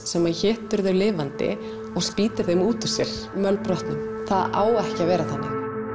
sem étur þau lifandi og spýtir þeim út úr sér mölbrotnum það á ekki að vera þannig